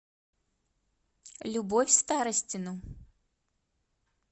любовь старостину